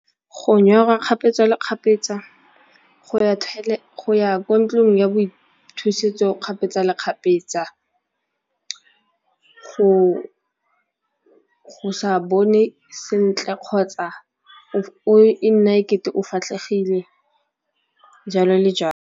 Go nyorwa kgapetsa le kgapetsa, go ya ko ntlong ya boithusetso kgapetsa le kgapetsa, go sa bone sentle kgotsa e nna e kete o fatlhegile jalo le jalo.